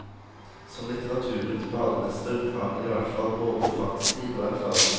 Som litteraturens bademester, har hun i hvert fall både fartstid og erfaring.